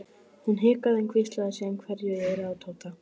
Hún hikaði en hvíslaði síðan einhverju í eyrað á Tóta.